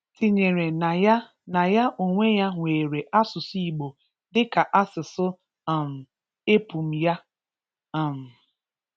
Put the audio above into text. tinyere na ya na ya onwe ya nwere asụsụ Igbo dịka asụsụ um epum ya. um